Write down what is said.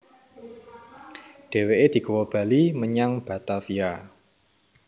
Dhèwèké digawa bali menyang Batavia